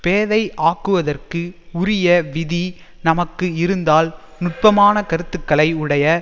பேதை ஆக்குவதற்கு உரிய விதி நமக்கு இருந்தால் நுட்பமான கருத்துக்களை உடைய